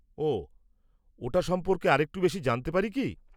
-ওহ, ওটা সম্পর্কে আরেকটু বেশি জানতে পারি কী?